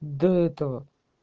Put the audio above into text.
до этого